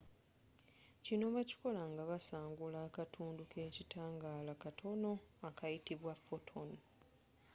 kino bakikola nga basangula akatundu kekitangaala katono akayitibwa photon